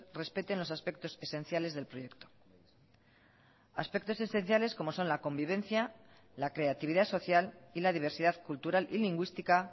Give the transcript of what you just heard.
respeten los aspectos esenciales del proyecto aspectos esenciales como son la convivencia la creatividad social y la diversidad cultural y lingüística